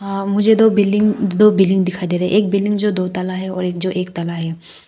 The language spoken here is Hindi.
मुझे दो बिल्डिंग दो बिल्डिंग दिखाई दे रही है एक बिल्डिंग जो एक तल्ला है और एक दो तल्ला है।